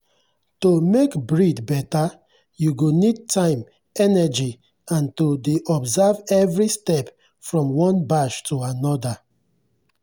to make breed better you go need time energy and to dey observe every step from one batch to another.